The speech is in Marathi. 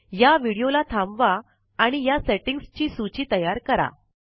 या विडीओला थांबवा आणि या सेटिंग्स ची सूची तयार करा